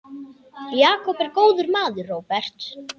Jakob er góður maður, Róbert.